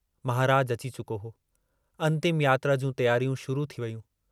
महराज अची चुको हो, अन्तिम यात्रा जूं तियारियूं शुरू थी वेयूं।